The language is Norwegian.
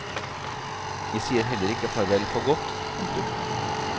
Jeg sier heller ikke farvel for godt. punktum